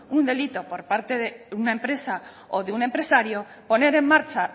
un delito por parte de una empresa o de un empresario poner en marcha